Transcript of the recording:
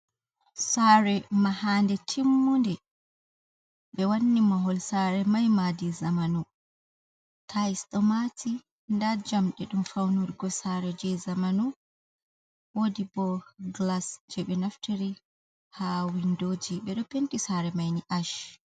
Sare mahande timmunde, ɓe wanni mahol sare mai madi zamanu, tayis ɗomati, nda jamɗe ɗum faunurgo sare je zamanu, wodi bo glas je ɓe naftiri ha windoji, ɓe ɗo penti sare maini ash.